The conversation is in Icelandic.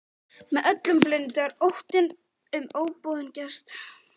Með öllum blundar óttinn um óboðinn gest.